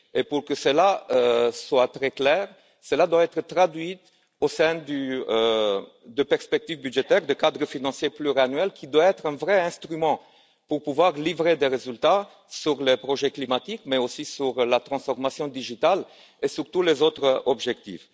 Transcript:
Pour que cela soit très clair, cela doit être traduit au sein des perspectives budgétaires du cadre financier pluriannuel, qui doit être un vrai instrument pour pouvoir livrer des résultats sur le projet climatique, mais aussi sur la transformation numérique et sur tous les autres objectifs.